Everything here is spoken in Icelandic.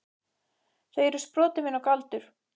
Þau eru sproti minn og galdur.